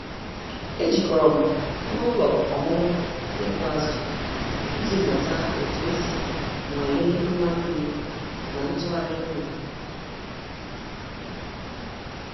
E jikọrọ m n'ụlọ ọmụmụ ịkụ azụ iji mụta otu esi nwalee mma mmiri na ntụgharị nri.